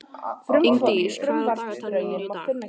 Og Jón Arason átti mörg börn sem aftur áttu mörg börn.